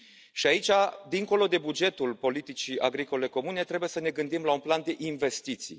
Iar aici, dincolo de bugetul politicii agricole comune, trebuie să ne gândim la un plan de investiții.